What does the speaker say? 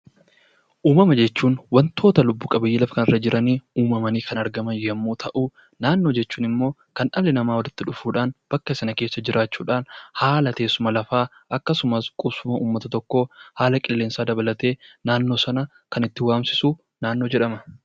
Uumama jechuun wantoota lubbu-qabeeyyii lafa kana irra jiranii uumamanii kan argaman yommuu ta'u, naannoo jechuun immoo kan dhalli namaa walitti dhufuudhaan bakka sana keessa jiraachuudhaan haala teessuma lafaa, akkasumas qubsuma ummata tokkoo, haala qilleensaa dabalatee naannoo sana kan itti waamsisu naannoo jedhama.